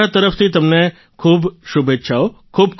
મારા તરફથી તમને ખૂબ શુભેચ્છાઓ